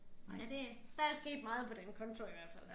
Nej det der er sket meget på den konto i hvert fald